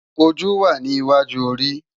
Ójú wá ni iwájú óri